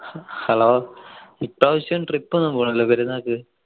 hello ഇപ്രാവശ്യം trip ഒന്നു പോണില്ലേ പെരുന്നാക്ക്